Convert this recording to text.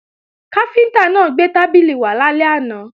Káfíntá náà gbé tábìlì náà wá lálẹ́ àná